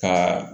Ka